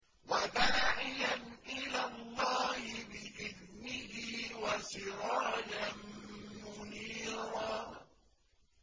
وَدَاعِيًا إِلَى اللَّهِ بِإِذْنِهِ وَسِرَاجًا مُّنِيرًا